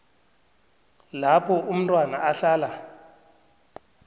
lapho umntwana ahlala